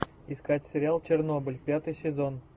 искать сериал чернобыль пятый сезон